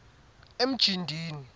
emjindini